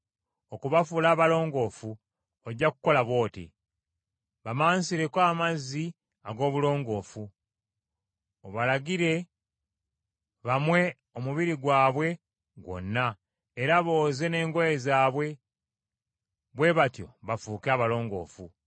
Okubafuula abalongoofu ojja kukola bw’oti: bamansireko amazzi ag’obulongoofu, obalagire bamwe omubiri gwabwe gwonna, era booze n’engoye zaabwe, bwe batyo bafuuke abalongoofu.